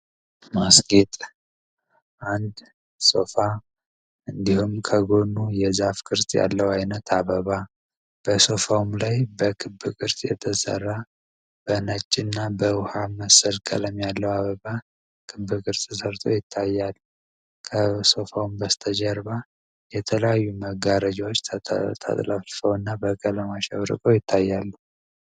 ማስጌጥ አንድ ሶፋ እንዲሁም ከጎኑ የዛፍ ክርጥ ያለው አይነት አበባ በሶፋውም ላይ በክብክርስ የተሰራ በነጅ እና በውሃ መሰድ ከለም ያለው አበባ ክብክርጽ ሰርቶ ይታያሉ። ከሶፋውም በስተጀርባ የተለዩ መጋረጃዎች ተጥለፈው እና በቀለማ ሸብርቆ ይታያሉ።